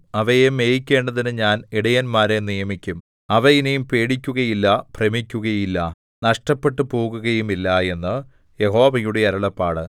അവയെ മേയിക്കേണ്ടതിന് ഞാൻ ഇടയന്മാരെ നിയമിക്കും അവ ഇനി പേടിക്കുകയില്ല ഭ്രമിക്കുകയില്ല നഷ്ടപ്പെട്ടുപോകുകയുമില്ല എന്ന് യഹോവയുടെ അരുളപ്പാട്